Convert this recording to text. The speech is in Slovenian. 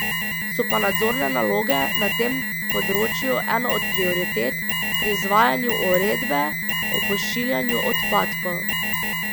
So pa nadzorne naloge na tem področju ena od prioritet pri izvajanju uredbe o pošiljanju odpadkov.